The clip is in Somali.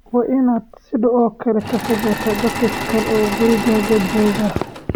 Waa inaad sidoo kale ka fogaataa dadka kale ee gurigaaga jooga.